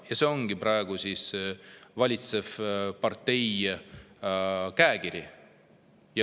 Ja see ongi praegu valitseva partei käekiri.